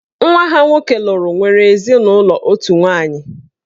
Nwa ha nwoke lụrụ nwere ezinụlọ otu nwaanyị.